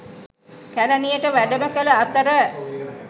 කැලණියට වැඩම කළ අතර